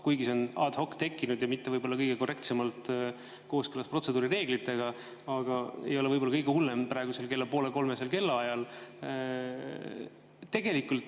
Kuigi see on tekkinud ad hoc ja mitte võib-olla kõige korrektsemas kooskõlas protseduurireeglitega, siis see ei ole võib-olla kõige hullem praegusel kella poole kolmesel kellaajal.